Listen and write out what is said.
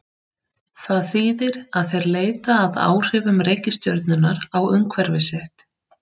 Það þýðir að þeir leita að áhrifum reikistjörnunnar á umhverfi sitt.